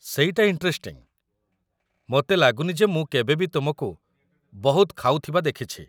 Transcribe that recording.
ସେଇଟା ଇଣ୍ଟରେଷ୍ଟିଂ, ମୋତେ ଲାଗୁନି ଯେ ମୁଁ କେବେ ବି ତୁମକୁ ବହୁତ ଖାଉଥିବା ଦେଖିଛି ।